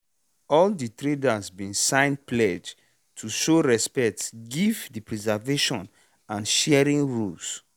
all de trader bin sign pledge to show respect give de preservation and sharing rules